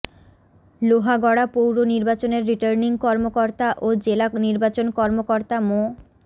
লোহাগড়া পৌর নির্বাচনের রিটার্নিং কর্মকর্তা ও জেলা নির্বাচন কর্মকর্তা মো